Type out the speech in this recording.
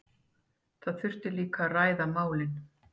Það þyrfti líka að ræða málin